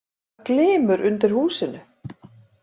Það glymur undir í húsinu.